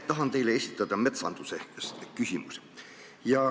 Tahan teile esitada küsimuse metsanduse kohta.